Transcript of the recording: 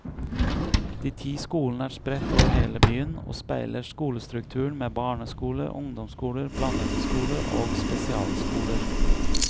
De ti skolene er spredt over hele byen og speiler skolestrukturen med barneskoler, ungdomsskoler, blandede skoler og spesialskoler.